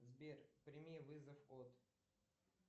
сбер прими вызов от